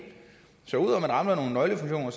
så ud rammer nogle nøglefunktioner